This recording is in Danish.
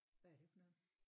Hvad er det for noget?